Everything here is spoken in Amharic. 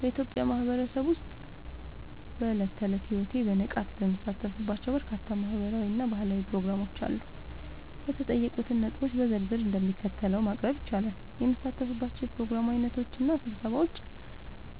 በኢትዮጵያ ማህበረሰብ ውስጥ በዕለት ተዕለት ሕይወቴ በንቃት የምሳተፍባቸው በርካታ ማህበራዊ እና ባህላዊ ፕሮግራሞች አሉ። የተጠየቁትን ነጥቦች በዝርዝር እንደሚከተለው ማቅረብ ይቻላል፦ የምሳተፍባቸው የፕሮግራም ዓይነቶች እና ስብሰባዎች፦